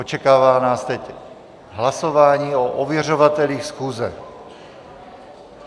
Očekává nás teď hlasování o ověřovatelích schůze.